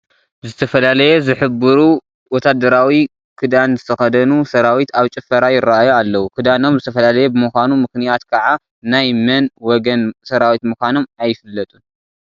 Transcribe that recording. ዝተፈላለየ ዝህብሩ ወታደራዊ ክዳን ዝተኸደኑ ሰራዊት ኣብ ጭፈራ ይርአዩ ኣለዉ፡፡ ክዳኖም ዝተፈላለየ ብምዃኑ ምኽንያት ከዓ ናይ መን ወገን ሰራዊት ምዃኖም ኣይፍለጡን፡፡